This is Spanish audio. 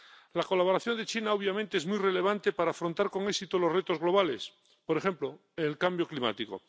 La colaboración de China, obviamente, es muy relevante para afrontar con éxito los retos globales, por ejemplo, el cambio climático.